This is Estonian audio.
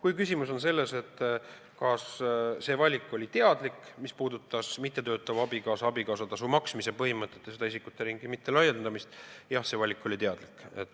Kui küsimus on selles, kas see oli teadlik valik, mis puudutas mittetöötavale abikaasale abikaasatasu maksmise põhimõtet ja isikute ringi mittelaiendamist, siis jah, see valik oli teadlik.